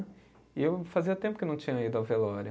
E eu fazia tempo que eu não tinha ido à velório.